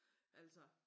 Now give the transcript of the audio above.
Altså